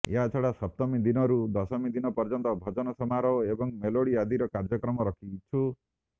ଏହାଛଡ଼ା ସପ୍ତମୀ ଦିନରୁ ଦଶମୀ ଦିନ ପର୍ଯ୍ୟନ୍ତ ଭଜନ ସମାରୋହ ଏବଂ ମେଲୋଡ଼ି ଆଦିର କାର୍ଯ୍ୟକ୍ରମ ରଖିଛୁ